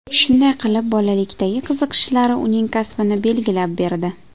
Shunday qilib bolalikdagi qiziqishlari uning kasbini belgilab berdi.